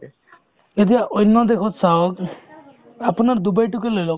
এতিয়া অন্য দেশত চাওঁ আপোনাৰ ডুবাই তোকে লৈ লওক